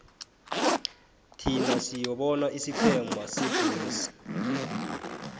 thin siyobona isiqhema sebulls